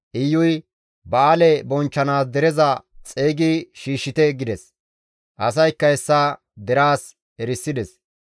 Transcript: Iyuy, «Ba7aale bonchchanaas dereza xeygi shiishshite» gides; asaykka hessa deraas erisides.